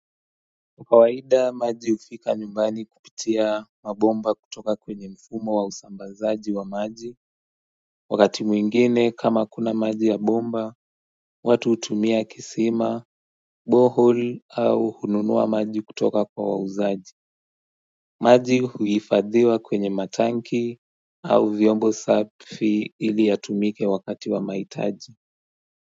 Kawaida maji hufika nyumbani kupitia mabomba kutoka kwenye mfumo wa usambazaji wa maji Wakati mwingine kama hakuna maji ya bomba, watu hutumia kisima, bohole au hununua maji kutoka kwa wauzaji maji huhifadhiwa kwenye matanki au vyombo safi ili yatumike wakati wa mahitaji.